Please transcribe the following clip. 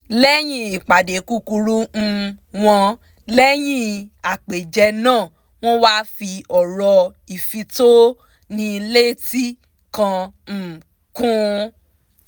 lẹ́yìn ìpàdé kúkúrú um wọn lẹ́yìn àpèjẹ náà wọ́n wá fi ọ̀rọ̀ ìfitónilétí kan um kun